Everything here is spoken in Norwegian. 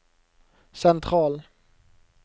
sentral